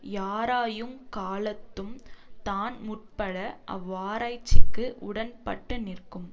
யாராயுங் காலத்தும் தான் முற்பட அவ்வாராய்ச்சிக்கு உடன்பட்டுநிற்கும்